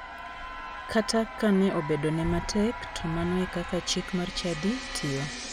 Kata ka ne obedo ne matek to mano e kaka chik mar chadi tiyo.